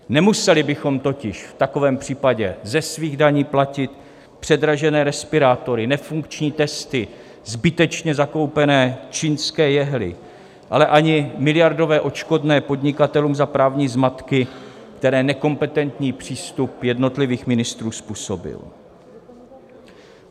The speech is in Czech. Nemuseli bychom totiž v takovém případě ze svých daní platit předražené respirátory, nefunkční testy, zbytečně zakoupené čínské jehly, ale ani miliardové odškodné podnikatelům za právní zmatky, které nekompetentní přístup jednotlivých ministrů způsobil